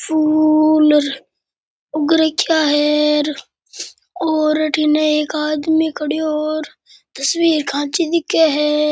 फूल उग रखिये है और अठीने एक आदमी खड़यो और तस्वीर खाँची दिखे है।